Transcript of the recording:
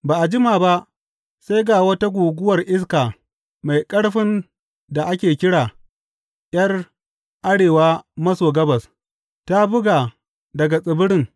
Ba a jima ba, sai ga wata guguwar iska mai ƙarfin da ake kira ’Yar arewa maso gabas, ta buga daga tsibirin.